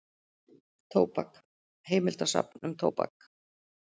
Tóbak, heimildasafn um tóbak.